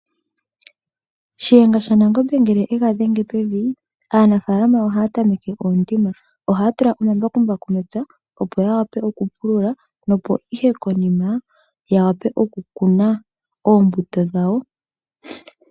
Shiyenga shaNangombe ngele e ga dhenge pevi, aanafaalama ohaa tameke oondima. Ohaa tula omambakumbaku mepya, opo ya wape okupulula, nopo ihe konima ya wape okukuna oombuto dhawo.